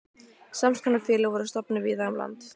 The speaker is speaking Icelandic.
Sams konar félög voru stofnuð víða um land.